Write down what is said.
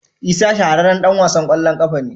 Isa shahararren dan wasan kwallon kafa ne.